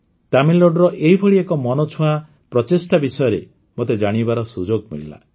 ତାମିଲନାଡୁର ଏହିଭଳି ଏକ ମନଛୁଆଁ ପ୍ରଚେଷ୍ଟା ବିଷୟରେ ମୋତେ ଜାଣିବାର ସୁଯୋଗ ମିଳିଲା